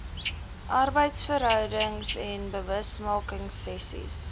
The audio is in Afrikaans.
arbeidsverhoudings lr bewusmakingsessies